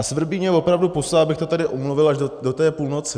A svrbí mě opravdu pusa, abych to tady odmluvil až do té půlnoci.